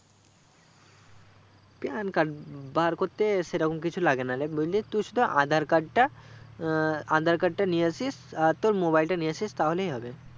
PAN card বাবার করতে সেরকম কিছু লাগে না লে বন্ধু তু শুধু aadhar card টা আহ aadhar card টা নিয়ে আসিস আর তোর mobile তা নিয়ে আসিস তাহলেই হবে